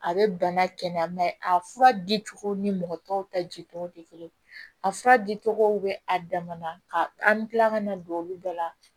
A bɛ bana kɛnɛya a fura dicogo ni mɔgɔ tɔw ta jitogo tɛ kelen a fura dicogo bɛ a damana an bɛ tila ka na don olu bɛɛ la